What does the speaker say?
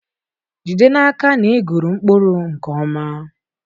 Jide n'aka na ị gụrụ mkpụrụ nke ọma.